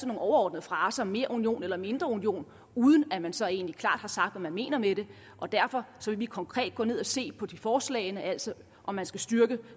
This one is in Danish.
nogle overordnede fraser som mere union eller mindre union uden at man så egentlig klart har sagt hvad man mener med det derfor vil vi konkret gå ned og se på forslagene altså om man skal styrke